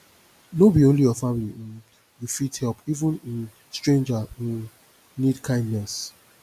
no be only your family um you fit help even um stranger um need kindness